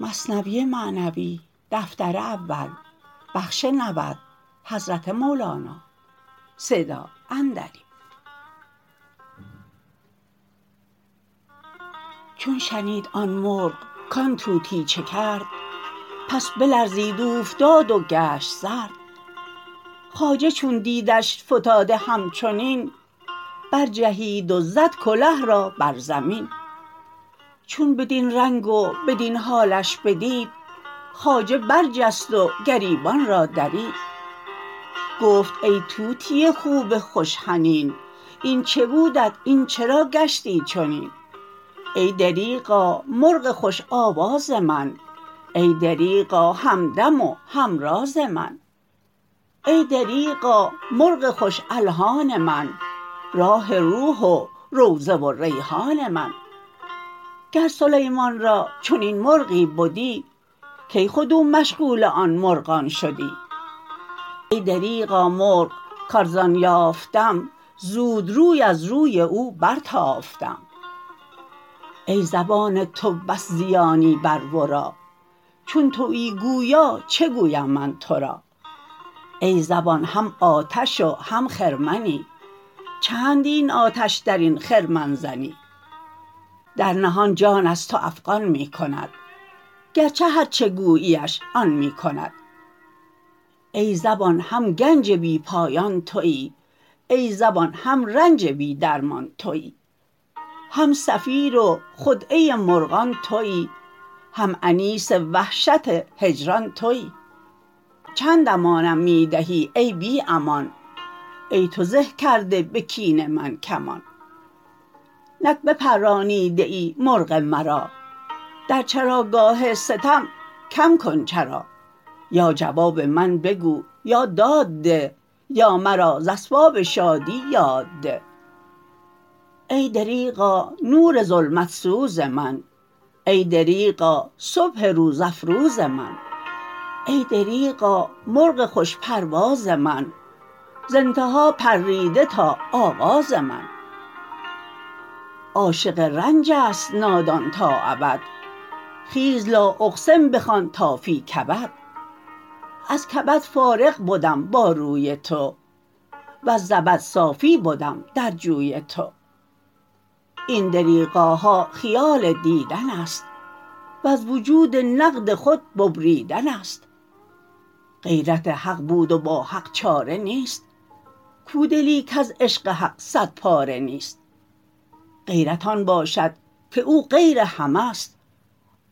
چون شنید آن مرغ کان طوطی چه کرد پس بلرزید اوفتاد و گشت سرد خواجه چون دیدش فتاده همچنین بر جهید و زد کله را بر زمین چون بدین رنگ و بدین حالش بدید خواجه بر جست و گریبان را درید گفت ای طوطی خوب خوش حنین این چه بودت این چرا گشتی چنین ای دریغا مرغ خوش آواز من ای دریغا همدم و همراز من ای دریغا مرغ خوش الحان من راح روح و روضه و ریحان من گر سلیمان را چنین مرغی بدی کی خود او مشغول آن مرغان شدی ای دریغا مرغ که ارزان یافتم زود روی از روی او بر تافتم ای زبان تو بس زیانی مر مرا چون تویی گویا چه گویم من تو را ای زبان هم آتش و هم خرمنی چند این آتش درین خرمن زنی در نهان جان از تو افغان می کند گرچه هر چه گوییش آن می کند ای زبان هم گنج بی پایان توی ای زبان هم رنج بی درمان توی هم صفیر و خدعه مرغان توی هم انیس وحشت هجران توی چند امانم می دهی ای بی امان ای تو زه کرده به کین من کمان نک بپرانیده ای مرغ مرا در چراگاه ستم کم کن چرا یا جواب من بگو یا داد ده یا مرا ز اسباب شادی یاد ده ای دریغا نور ظلمت سوز من ای دریغا صبح روز افروز من ای دریغا مرغ خوش پرواز من ز انتها پریده تا آغاز من عاشق رنج است نادان تا ابد خیز لا اقسم بخوان تا فی کبد از کبد فارغ بدم با روی تو وز زبد صافی بدم در جوی تو این دریغاها خیال دیدن است وز وجود نقد خود ببریدن است غیرت حق بود و با حق چاره نیست کو دلی کز عشق حق صد پاره نیست غیرت آن باشد که او غیر همه ست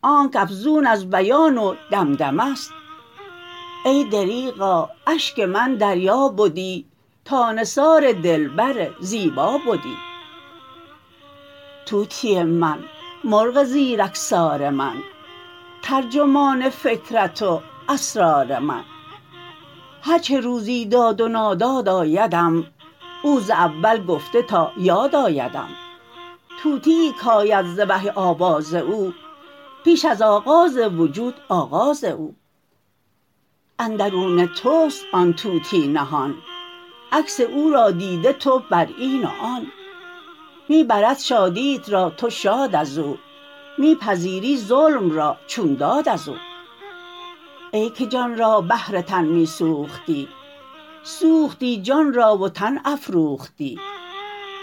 آنکه افزون از بیان و دمدمه ست ای دریغا اشک من دریا بدی تا نثار دلبر زیبا بدی طوطی من مرغ زیرکسار من ترجمان فکرت و اسرار من هرچه روزی داد و ناداد آیدم او ز اول گفته تا یاد آیدم طوطیی کآید ز وحی آواز او پیش از آغاز وجود آغاز او اندرون تست آن طوطی نهان عکس او را دیده تو بر این و آن می برد شادیت را تو شاد ازو می پذیری ظلم را چون داد ازو ای که جان را بهر تن می سوختی سوختی جان را و تن افروختی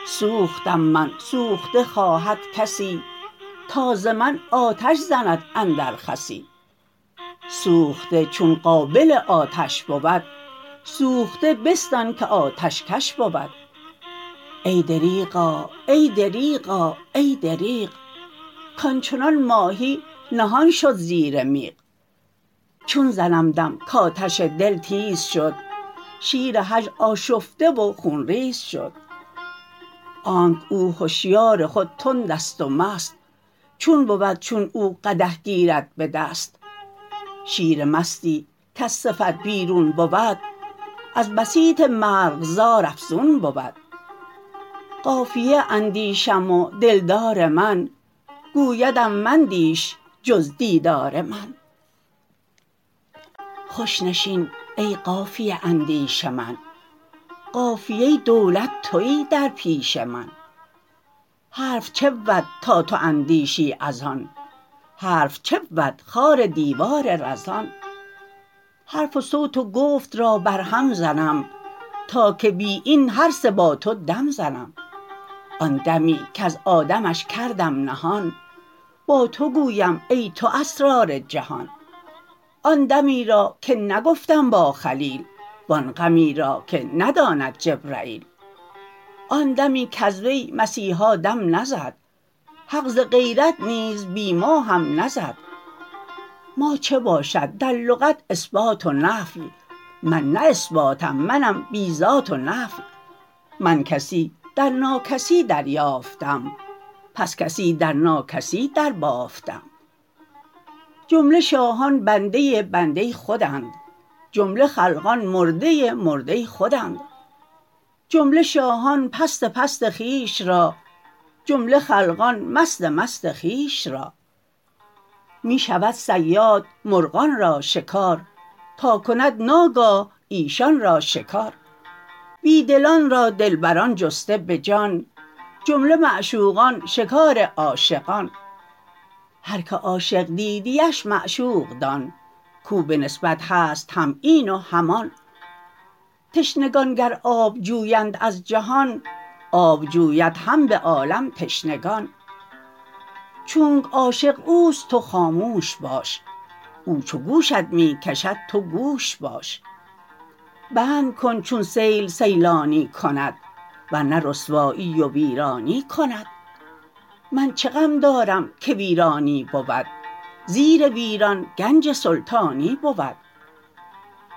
سوختم من سوخته خواهد کسی تا ز من آتش زند اندر خسی سوخته چون قابل آتش بود سوخته بستان که آتش کش بود ای دریغا ای دریغا ای دریغ کانچنان ماهی نهان شد زیر میغ چون زنم دم کآتش دل تیز شد شیر هجر آشفته و خون ریز شد آنکه او هشیار خود تندست و مست چون بود چون او قدح گیرد به دست شیر مستی کز صفت بیرون بود از بسیط مرغزار افزون بود قافیه اندیشم و دلدار من گویدم مندیش جز دیدار من خوش نشین ای قافیه اندیش من قافیه دولت توی در پیش من حرف چه بود تا تو اندیشی از آن حرف چه بود خار دیوار رزان حرف و صوت و گفت را بر هم زنم تا که بی این هر سه با تو دم زنم آن دمی کز آدمش کردم نهان با تو گویم ای تو اسرار جهان آن دمی را که نگفتم با خلیل و آن غمی را که نداند جبرییل آن دمی کز وی مسیحا دم نزد حق ز غیرت نیز بی ما هم نزد ما چه باشد در لغت اثبات و نفی من نه اثباتم منم بی ذات و نفی من کسی در ناکسی در یافتم پس کسی در ناکسی در بافتم جمله شاهان بنده بنده خودند جمله خلقان مرده مرده خودند جمله شاهان پست پست خویش را جمله خلقان مست مست خویش را می شود صیاد مرغان را شکار تا کند ناگاه ایشان را شکار بی دلان را دلبران جسته به جان جمله معشوقان شکار عاشقان هر که عاشق دیدی اش معشوق دان کاو به نسبت هست هم این و هم آن تشنگان گر آب جویند از جهان آب جوید هم به عالم تشنگان چونک عاشق اوست تو خاموش باش او چو گوشت می کشد تو گوش باش بند کن چون سیل سیلانی کند ور نه رسوایی و ویرانی کند من چه غم دارم که ویرانی بود زیر ویران گنج سلطانی بود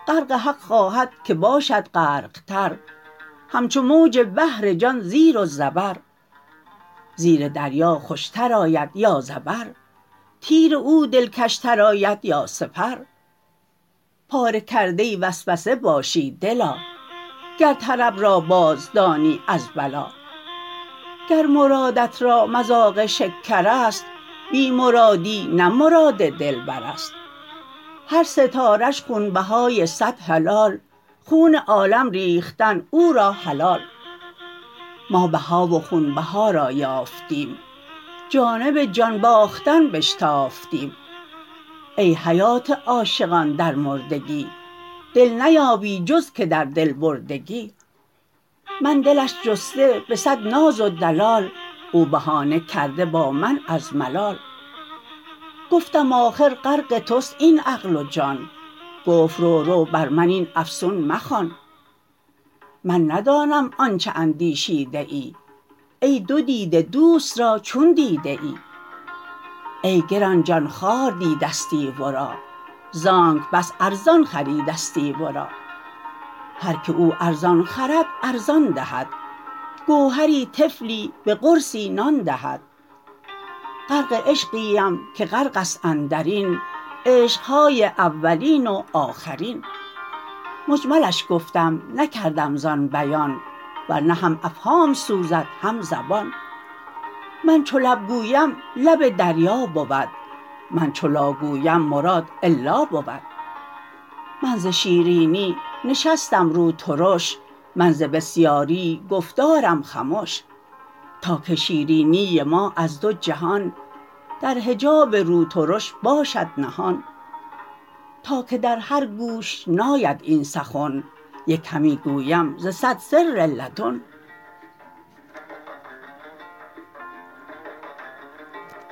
غرق حق خواهد که باشد غرق تر همچو موج بحر جان زیر و زبر زیر دریا خوشتر آید یا زبر تیر او دلکش تر آید یا سپر پاره کرده وسوسه باشی دلا گر طرب را باز دانی از بلا گر مرادت را مذاق شکرست بی مرادی نه مراد دلبرست هر ستاره ش خونبهای صد هلال خون عالم ریختن او را حلال ما بها و خونبها را یافتیم جانب جان باختن بشتافتیم ای حیات عاشقان در مردگی دل نیابی جز که در دل بردگی من دلش جسته به صد ناز و دلال او بهانه کرده با من از ملال گفتم آخر غرق تست این عقل و جان گفت رو رو بر من این افسون مخوان من ندانم آنچ اندیشیده ای ای دو دیده دوست را چون دیده ای ای گران جان خوار دیدستی ورا زانکه بس ارزان خریدستی ورا هرکه او ارزان خرد ارزان دهد گوهری طفلی به قرصی نان دهد غرق عشقی ام که غرقست اندرین عشق های اولین و آخرین مجملش گفتم نکردم زان بیان ورنه هم افهام سوزد هم زبان من چو لب گویم لب دریا بود من چو لا گویم مراد الا بود من ز شیرینی نشستم رو ترش من ز بسیاری گفتارم خمش تا که شیرینی ما از دو جهان در حجاب رو ترش باشد نهان تا که در هر گوش ناید این سخن یک همی گویم ز صد سر لدن